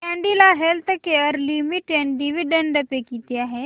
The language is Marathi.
कॅडीला हेल्थकेयर लिमिटेड डिविडंड पे किती आहे